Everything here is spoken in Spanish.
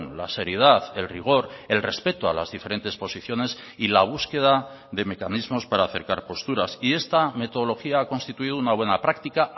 la seriedad el rigor el respeto a las diferentes posiciones y la búsqueda de mecanismos para acercar posturas y esta metodología ha constituido una buena práctica